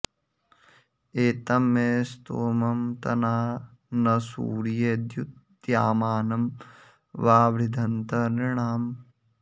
ए॒तं मे॒ स्तोमं॑ त॒ना न सूर्ये॑ द्यु॒तद्या॑मानं वावृधन्त नृ॒णाम्